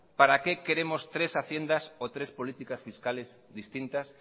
para qué queremos tres haciendas o tres políticas fiscales distintas